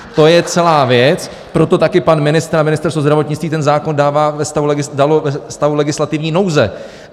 To je celá věc, proto taky pan ministr a Ministerstvo zdravotnictví ten zákon dali ve stavu legislativní nouze.